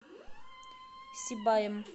сибаем